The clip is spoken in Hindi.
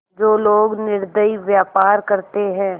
जो लोग निर्दयी व्यवहार करते हैं